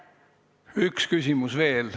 Üks küsimus veel.